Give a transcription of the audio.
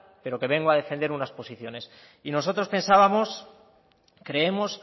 pero que vengo a defender unas posiciones y nosotros pensábamos creemos